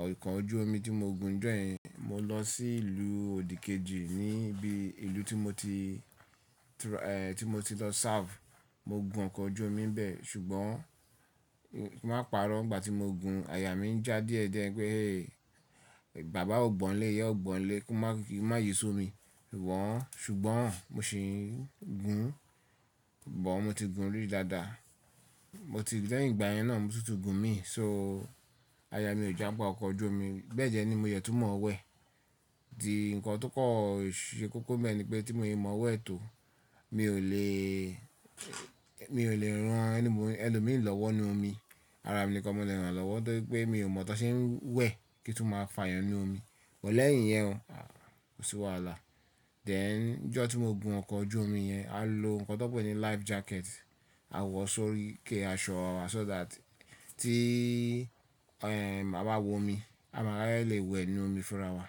Ọkọ̀ ojú omi tí mo gun ni ijo yen mo lọ sí ìlú òdìkejì níbí ìlú tí mo ti, èhè, tí mo ti lọ serve. Mo gun ọkọ̀ ojú omi bẹ́ẹ̀ ṣùgbọ́n ki n máa pa'rọ́ ìgbà tí mo gun aya mi ń já díẹ̀díẹ̀ pé bàbá o gbọ́ n lè, ìyá o gbọ́ n lè kí n má, kí n má yí ṣó mi. Wọ́n ṣùgbọ́n mo sì ń gun, bọ̀ mo ti gun rí dáadáa. Mo ti lẹ́yìn ìgbà yẹn náà mo tútù gun mí. So aya mi ò já gbá ọkọ̀ ojú omi. Bẹ́ẹ̀ de ni mo de tunmọ̀wẹ̀. Tí nǹkan tó kọ̀ ṣe kókó n bẹ́ẹ̀ ni pé tí mo ò mọ̀wẹ̀ tó mi ò lè, mi ò lè rán ẹni mo, ẹlòmíràn lọ́wọ́ inú omi. Ara mi nìkan mo leè rán lọ́wọ́ tori wipe mi ò mọ̀ tan ṣe ń wẹ̀ kí tún máa fààyàn inú omi.(. Leyin iyẹn o, à, kò sí wàhálà. Then ijọ́ tí mo gun ọkọ̀ ojú omi yẹn a lo nǹkan tó n pé ní life jacket. A wọ̀ sórí ike aṣọ wa so that tí, ẹ̀hẹ̀n, a bá wo omi a máa lè wẹ̀ inú omi fúnra wa.